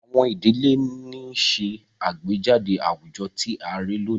Àwọn idile ni nṣe agbejade awujọ ti a rii loni